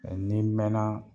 n'i mɛna